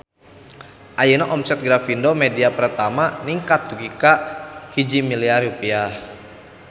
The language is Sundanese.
Ayeuna omset Grafindo Media Pratama ningkat dugi ka 1 miliar rupiah